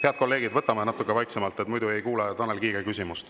Head kolleegid, võtame natuke vaiksemaks, muidu ei kuule Tanel Kiige küsimust.